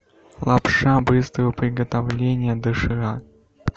лапша быстрого приготовления доширак